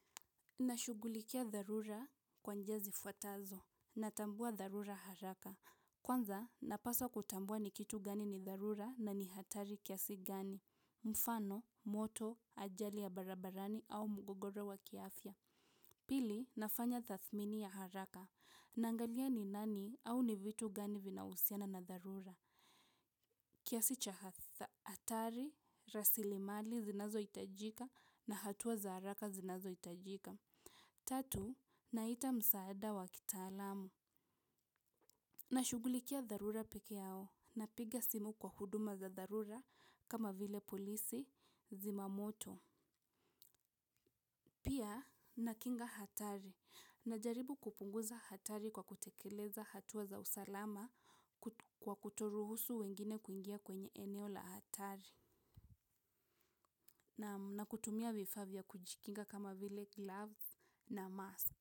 Nashughulikia dharura kwa njia zifuatazo. Natambua dharura haraka. Kwanza napaswa kutambua ni kitu gani ni dharura na ni hatari kiasi gani mfano, moto, ajali ya barabarani au mgogoro wa kiafya pili nafanya tathmini ya haraka naangalia ni nani au ni vitu gani vinahusiana na dharura kiasi cha hatari, rasilimali zinazohitajika na hatua za haraka zinazohitajika tatu, naita msaada wa kitaalamu. Nashughulikia dharura peke yao, napiga simu kwa huduma za dharura kama vile polisi zimamoto. Pia, nakinga hatari, najaribu kupunguza hatari kwa kutekeleza hatua za usalama kwa kutoruhusu wengine kuingia kwenye eneo la hatari. Na kutumia vifaa vya kujikinga kama vile gloves na mask.